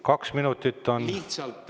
Kaks minutit on täis räägitud.